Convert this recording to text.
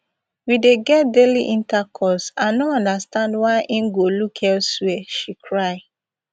we dey get daily intercourse i no understand why im go look elsewia she cry